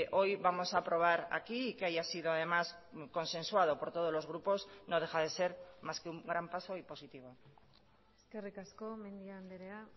hoy vamos a aprobar aquí y que haya sido además consensuado por todos los grupos no deja de ser más que un gran paso y positivo eskerrik asko mendia andrea